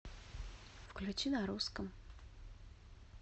включи на русском